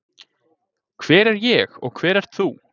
Hver er ég og hver ert þú?